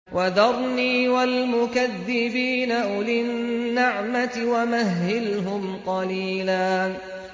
وَذَرْنِي وَالْمُكَذِّبِينَ أُولِي النَّعْمَةِ وَمَهِّلْهُمْ قَلِيلًا